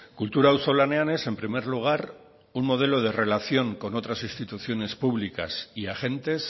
kultura auzolanean es en primer lugar un modelo de relación con otras instituciones públicas y agentes